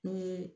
Ni